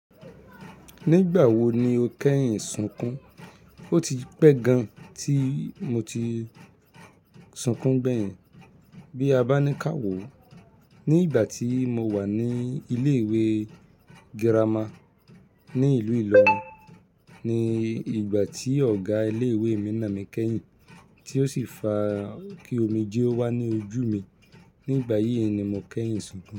Nígbà wo ni o kẹ́yìn sunkún? O ti pẹ́ gan tí mo ti sunkún gbeyin bí a bá ní ká wò ó. Ní ìgbà tí mo wà ní ilé ìwé girama ní ìlú Ìlọrin ni ìgbà tí ọ̀gá ilé ìwé mi nà mí kẹ́yìn tí ó sì fa kí omijé o wà ní ojú mi. Nígbà yí ni mo kẹ́yìn sunkún.